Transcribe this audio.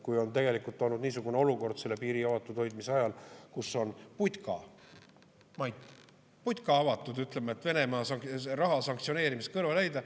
Kui on tegelikult olnud niisugune olukord selle piiri avatud hoidmise ajal, kus on putka, Mait, putka avatud selleks, et, ütleme, Venemaa raha sanktsioneerimisest kõrvale hoida.